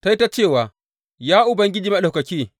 Ta yi ta cewa, Ya Ubangiji Maɗaukaki.